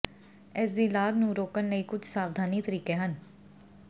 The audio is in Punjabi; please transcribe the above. ਇਸ ਦੀ ਲਾਗ ਨੂੰ ਰੋਕਣ ਲਈ ਕੁਝ ਸਾਵਧਾਨੀ ਤਰੀਕੇ ਹਨ